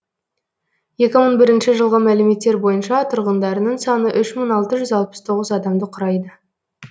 екі мың бірінші жылғы мәліметтер бойынша тұрғындарының саны үш мың алты жүз тоқсан тоғыз адамды құрайды